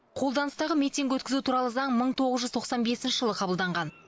қолданыстағы митинг өткізу туралы заң мың тоғыз жүз тоқсан бесінші жылы қабылданған